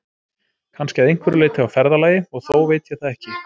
Kannski að einhverju leyti á ferðalagi, og þó veit ég það ekki.